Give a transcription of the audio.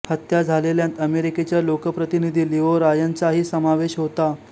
हत्या झालेल्यांत अमेरिकेच्या लोकप्रतिनिधी लिओ रायनचाही समावेश होता